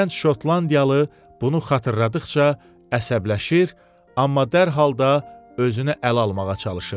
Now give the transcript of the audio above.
Gənc şotlandiyalı bunu xatırladıqca əsəbləşir, amma dərhal da özünü ələ almağa çalışırdı.